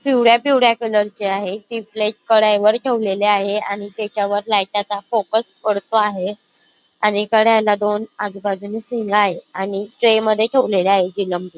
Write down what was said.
पिवळ्या पिवळ्या कलर ची आहे ती प्लेट कढईवर ठेवलेली आहे आणि त्याच्यावर लाईटा चा फोकस पडतो आहे आणि कढईला दोन आजूबाजूने सिंग आहेत आणि ट्रे मध्ये ठेवलेल्या आहेत जिलंबी.